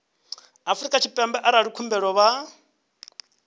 afrika tshipembe arali khumbelo vha